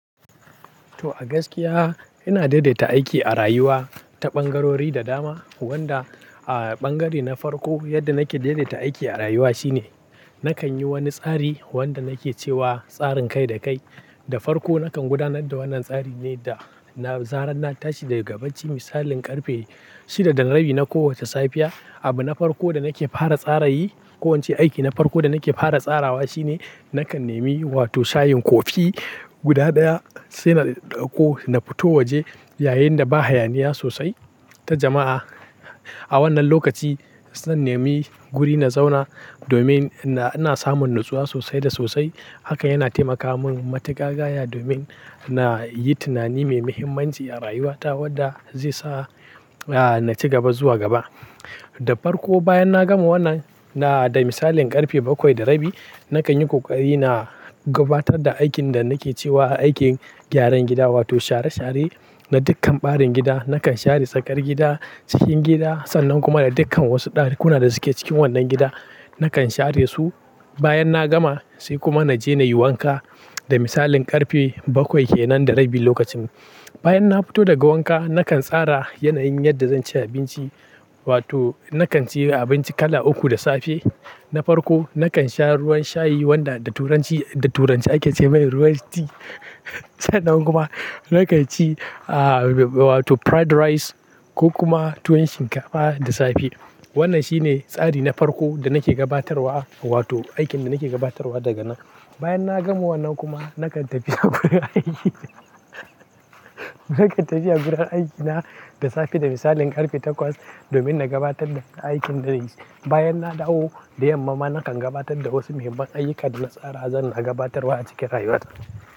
To a gaskiya, ina daidaita aiki a rayuwa, ta ɓangarori da dama, wanda a ɓangare na farko, yadda nake daidaita aiki a rayuwa shine, nakan yi wani tsari, wanda nake cewa tsarin kai da kai. Da farko nakan gudanar da wannan tsari ne da na zarar na tashi daga bacci misalin ƙarfe shida da rabi na kowace safiya. Abu na farko da nake fara tsaray, i ko ince aiki na farko da nake fara tsarawa shine, nakan nemi wato shayin kofi, guda ɗaya, sai na ɗauko na fito waje, yayinda ba hayaniya sosai, ta jama'a, a wannan lokaci, se in nemi guri na zauna, domin na, ina samun natsuwa sosai da sosai, haka yana taimaka mun matuƙa gaya, domin na yi tunani mai muhimmanci a rayuwa ta wadda zai sa a, na ci gaba zuwa gaba. Da farko bayan na gama wannan, na, da misalin ƙarfe bakwai da rabi, nakan yi ƙoƙari na gabatar da aikin da nake cewa aikin gyaran gida, wato share share, na dukkan ɓarin gida. Nakan share tsakar gida, cikin gida, sannan kuma da dukkan wasu ɗakuna da suke cikin wannan gida, nakan share su, Bayan na gama sai kuma na je na yi wanka da misalin ƙarfe bakwai kenan da rabi lokacin. Bayan na fito daga wanka, nakan tsara yanayin yadda zan ci abinci wato nakan ci abinci kala uku da safe. Na farko nakan sha ruwan shayi wanda da turanci, da turance ake ce mai ruwan tea, sannan kuma nakan ci, a wato fried rice ko kuma tuwon shinkafa da safe. Wannan shine tsari na farko da nake gabatarwa wato aikin da nake gabatarwa daga nan. Bayan na gama wannan kuma, nakan tafiya gurin aiki, nakan tafiya gurin aikina, da safe da misalin ƙarfe takwas, domin na gabatar da aikin da zanyi. Bayan na dawo da yamma ma, nakan gabatar da wasu muhimman aiyuka da na tsara zanna gabatarwa a cikin rayuwa ta.